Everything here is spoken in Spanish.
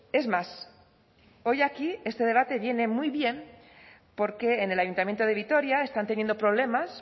es más hoy aquí este debate viene muy bien porque en el ayuntamiento de vitoria están teniendo problemas